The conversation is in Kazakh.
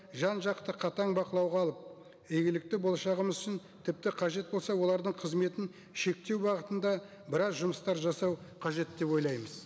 жан жақты қатаң бақылауға алып игілікті болашағымыз үшін тіпті қажет болса олардың қызметін шектеу бағытында біраз жұмыстар жасау қажет деп ойлаймыз